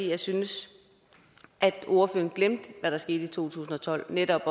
jeg synes at ordføreren glemte hvad der skete i to tusind og tolv netop